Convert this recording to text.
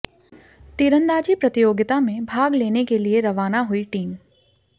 तीरंदाजी प्रतियोगिता में भाग लेने के लिए रवाना हुई टीम